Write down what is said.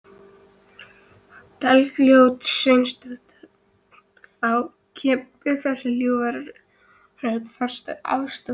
Bergljót Sveinsdóttir: Þá kemur þessi ljúfa rödd, þarftu aðstoð?